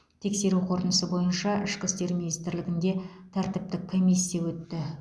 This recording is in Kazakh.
тексеру қорытындысы бойынша ішкі істер министрлігіде тәртіптік комиссия өтті